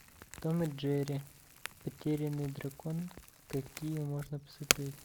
том и джерри потерянный дракон какие можно посмотреть